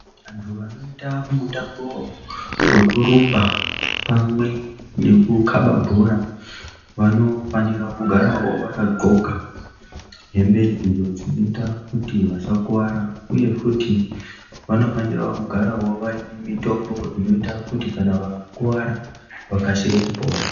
Vantu vanoita mutambo vekurumba pame nekukaba bhora. Vanofanira kugaravo vakadhloka hembe idzo dzinota kuti vasakuvara, uye futi vanofanira kugaravo vaine mitombo inoita kuti kana vakakuvara vakasire kupora.